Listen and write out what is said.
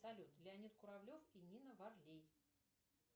салют леонид куравлев и нина варлей